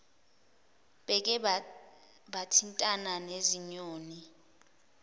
beke bathintana nezinyoni